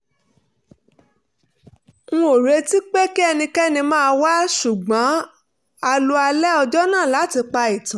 n ò retí pé kí ẹnikẹ́ni máa wá ṣùgbọ́n a lo alẹ́ ọjọ́ náà láti pa ìtàn